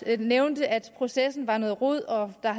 at nævne at processen var noget rod og der